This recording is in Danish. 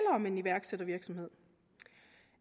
om en iværksættervirksomhed